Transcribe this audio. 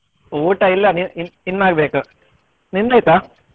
ಊಟ ಇಲ್ಲ ಇ~ ಇ~ ಇನ್ನು ಆಗ್ಬೇಕು ನಿಮ್ದಾಯ್ತಾ?